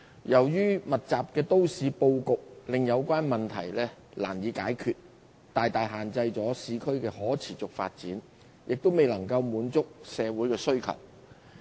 由於密集的都市布局，令有關問題難以解決，大大限制了市區的可持續發展，亦未能滿足社會的需求。